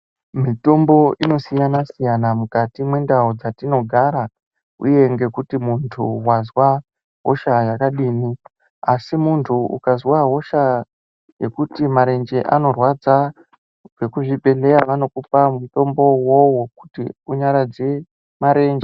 Mitombo inosiyana siyana mukati mwendau dzetinogara uye kuti muntu wazwa hosha yakadini, asi muntu ukazwa hosha yekuti marenje anorwadza, vekuchibhedhlera vanokupa mutombo uwowo wekuti unyaradze marenje.